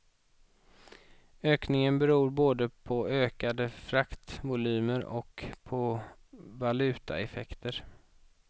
Ökningen beror både på ökade fraktvolymer och på valutaeffekter.